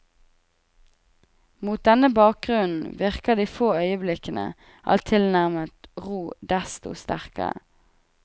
Mot denne bakgrunnen virker de få øyeblikkene av tilnærmet ro desto sterkere.